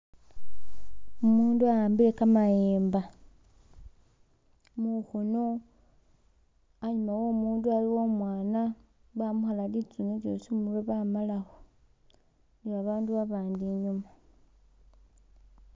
Umundu awambile kameyemba mukhono anyuma womundu aliwo umwana bamukhala litsune lyosi khumurwe bamalakho ne babandu babandi inyuma.